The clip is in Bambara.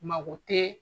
Mako tɛ